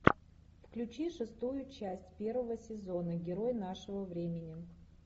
включи шестую часть первого сезона герой нашего времени